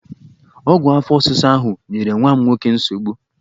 Ọgwụ afọ ọsịsa ahụ nyere nwa m nwoke nsogbu!